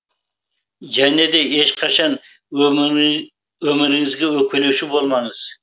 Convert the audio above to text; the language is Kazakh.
және де ешқашан өміріңізге өкпелеуші болмаңыз